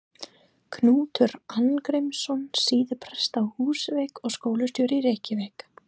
Knútur Arngrímsson, síðar prestur á Húsavík og skólastjóri í Reykjavík.